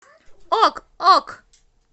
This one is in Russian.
ок ок